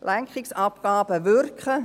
Lenkungsabgaben wirken.